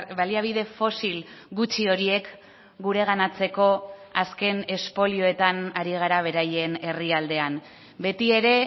baliabide fosil gutxi horiek gureganatzeko azken espolioetan ari gara beraien herrialdean beti ere